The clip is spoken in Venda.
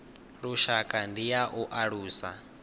lushaka ndi ya u alusa